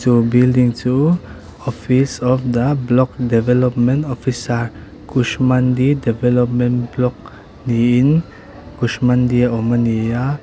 chu building chu office of the block development officer kushmandi development block niin kushmandi a awm a ni a.